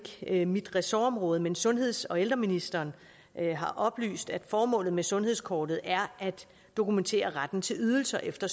ikke mit ressortområde men sundheds og ældreministeren har oplyst at formålet med sundhedskortet er at dokumentere retten til ydelser efter